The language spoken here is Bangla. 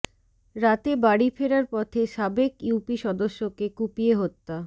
রাতে বাড়ি ফেরার পথে সাবেক ইউপি সদস্যকে কুপিয়ে হত্যা